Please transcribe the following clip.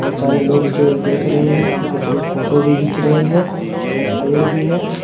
बहुत सारे लोग इसे देख रहे हैं और कुछ लोग फोटो भी घिन्च रहे हैं एक पेड़ भी है।